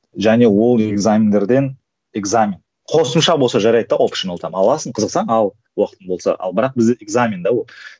және ол экзамендерден экзамен қосымша болса жарайды да офшиналдан аласын қызықсаң ал уақытың болса ал бірақ бізде экзамен де ол